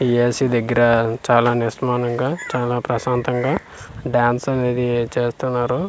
AC దగ్గర చాలా నిష్మానంగా చాలా ప్రశాంతంగా డాన్స్ అనేది చేస్తున్నారు.